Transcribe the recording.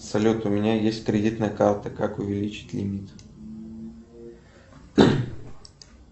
салют у меня есть кредитная карта как увеличить лимит